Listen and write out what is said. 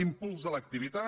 impuls de l’activitat